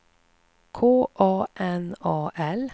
K A N A L